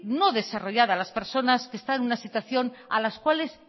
no desarrollar las personas que están en una situación a las cuales